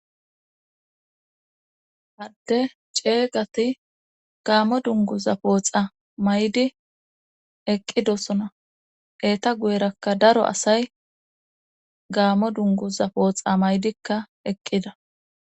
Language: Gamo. adde ceegati gaammo dunguza pooxa may7di eqqidosona eeta guyerakka daro asay gaamo dunguza pooxa maydikka eqqida